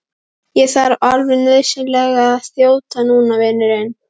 Ég þarf alveg nauðsynlega að þjóta núna, vinurinn.